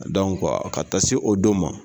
ka taa se o don ma